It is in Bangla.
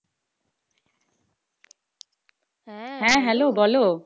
হ্যাঁ hello বলো।